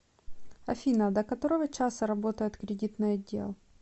афина до которого часа работает кредитный отдел